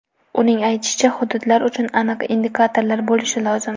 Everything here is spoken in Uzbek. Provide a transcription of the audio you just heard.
Uning aytishicha, hududlar uchun aniq indikatorlar bo‘lishi lozim.